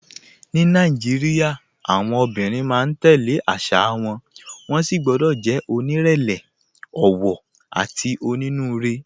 Ní Nàìjíríà, àwọn obìnrin máa ń tẹ̀ lé àṣà wọn, wọ́n sì gbọ́dọ̀ jẹ́ onírẹ̀lẹ̀, ọ̀wọ̀, àti onínúure.